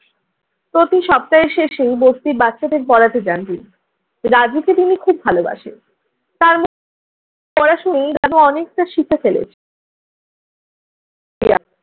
প্রতি সপ্তাহের শেষে বস্তির বাচ্চাদের পড়াতে যান তিনি। রাজুকে তিনি খুব ভালোবাসেন। তার সরাসরি এইভাবে অনেকটা শিখে ফেলে।